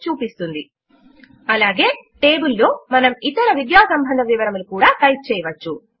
అలాగే టేబుల్ లో మనము ఇతర విద్యా సంబంధ వివరములు కూడా టైప్ చేయవచ్చు